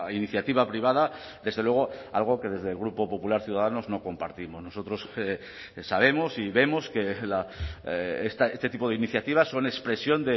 iniciativa privada desde luego algo que desde el grupo popular ciudadanos no compartimos nosotros sabemos y vemos que este tipo de iniciativas son expresión